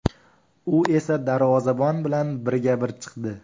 U esa darvozabon bilan birga-bir chiqdi.